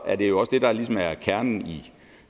er det jo også det der ligesom er kernen